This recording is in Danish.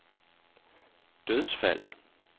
dødsfald